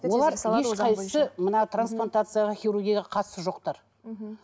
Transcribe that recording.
олар ешқайсысы мына трансплантацияға хирургияға қатысы жоқтар мхм